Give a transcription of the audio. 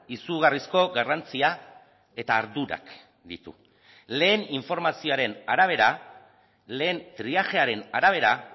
izugarrizko garrantzia eta ardurak ditu lehen informazioaren arabera lehen triajearen arabera